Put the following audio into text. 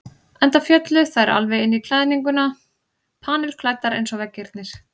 Enda féllu þær alveg inn í klæðninguna, panilklæddar eins og veggirnir.